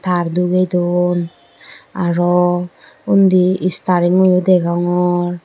tar duge don aro undi staring goyo deyongor.